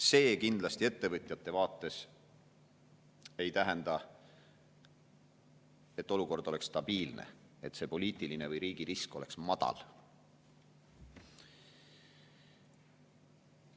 See kindlasti ettevõtjate vaates ei tähenda, et olukord oleks stabiilne, et see poliitiline või riigirisk oleks madal.